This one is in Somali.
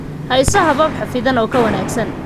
Hayso habab xafidan oo ka wanaagsan